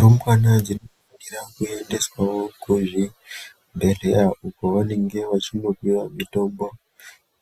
Rumbwana dzinofanirwa kumboyendeswa kuzvibhedhlera uko kwavanenge vechinopiwa mitombo